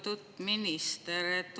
Lugupeetud minister!